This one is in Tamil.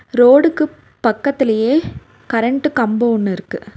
ரோடுக்கு பக்கத்திலேயே கரண்ட் கம்போ ஒன்னு இருக்கு.